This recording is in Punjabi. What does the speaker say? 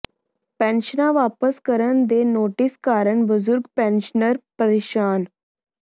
ਪੈਨਸ਼ਨਾਂ ਵਾਪਸ ਕਰਨ ਦੇ ਨੋਟਿਸ ਕਾਰਨ ਬਜ਼ੁਰਗ ਪੈਨਸ਼ਨਰ ਪਰੇਸ਼ਾਨ